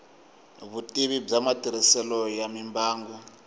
vutivi bya matirhiselo ya mimbangu